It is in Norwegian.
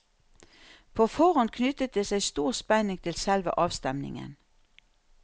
På forhånd knyttet det seg stor spenning til selve avstemningen.